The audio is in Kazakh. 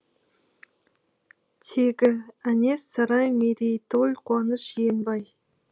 тегі әнес сарай мерейтой қуаныш жиенбай